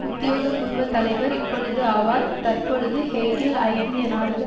உத்தியோகபூர்வ தலைவர் இப்பொழுது ஆவார் தற்பொழுது ஹேக்கில் ஐங்கிய நாடுகள்